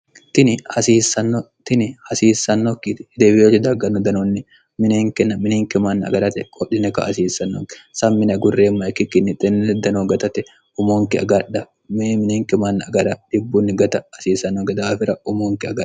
tini hasiissannokki hideweelcho dagganno danonni minenkenno mininke manna agarate qodhine ka'a hasiissannokke sammine agurreemmoha ikkikkinni tenne dano gatate umonke agadha mininke manna agara dhibbunni gata hasiissannonke daafira umonke agaro